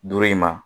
Duuru in ma